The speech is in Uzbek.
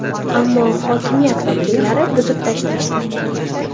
Ammo hokimiyat vakillari buzib tashlashdi.